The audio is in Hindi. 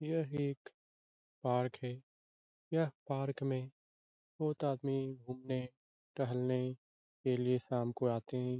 यह एक पार्क है यह पार्क में बहुत आदमी घूमने टहलने के लिए शाम को आते हैं ।